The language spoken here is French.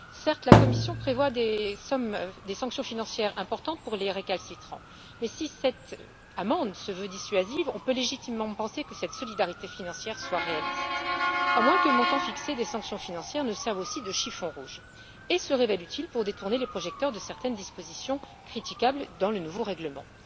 Certes, la Commission prévoit des sanctions financières importantes pour les récalcitrants mais, si cette amende se veut dissuasive, on peut légitimement penser que cette solidarité financière est réaliste. À moins que le montant fixé des sanctions financières ne serve aussi de chiffon rouge et se révèle utile pour détourner les projecteurs de certaines dispositions critiquables dans le nouveau règlement.